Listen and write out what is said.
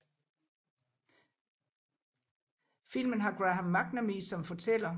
Filmen har Graham McNamee som fortæller